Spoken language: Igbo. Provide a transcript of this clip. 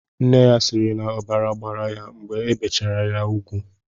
Nne ya siiri na ọbara gbara ya mgbe ebichara ya ugwu.